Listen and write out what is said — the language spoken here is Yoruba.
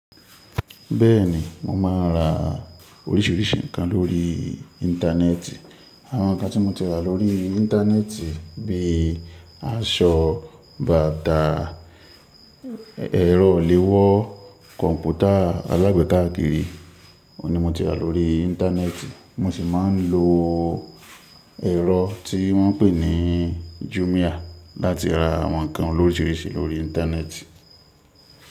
Bẹ́ẹ̀ni, mo máa ń ra oríṣiríṣi nǹkan lórí Íńtánẹ́ẹ̀tì. Àwọn nǹkan tí mo ti ra lórí Íńtánẹ́ẹ̀tì bí i aṣọ, bàtà, ẹ̀rọ léwọ́ kọ̀ǹpútà alágbèéká akiri, òun ni mo ti rà lórí Íńtánẹ́ẹ̀tì. Mo sì máa ń lo ẹ̀rọ tí wọ́n ń pè ní Jumia láti ra àwọn nǹkan oríṣiríṣi lórí Íńtánẹ́ẹ̀tì.